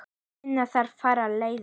Finna þarf aðrar leiðir.